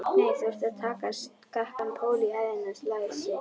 Nei, þú ert að taka skakkan pól í hæðina, lagsi.